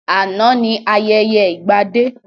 Àná ni ayẹyẹ ìgbadé